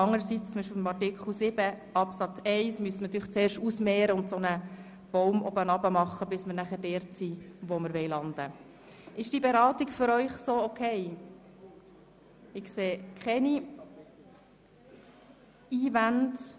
Andererseits muss natürlich zum Beispiel bei Artikel 7 Absatz 1 zuerst ausgemehrt werden, und danach gehen wir von oben nach unten nach einer Art Baum vor, bis wir schliesslich dort ankommen, wo wir landen wollen.